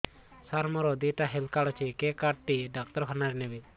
ସାର ମୋର ଦିଇଟା health card ଅଛି କେ କାର୍ଡ ଟି ଡାକ୍ତରଖାନା ରେ ନେବେ